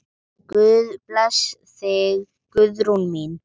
Guð blessi þig, Guðrún mín.